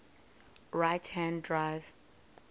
right hand drive